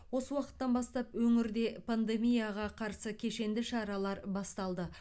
осы уақыттан бастап өңірде пандемияға қарсы кешенді шаралар басталды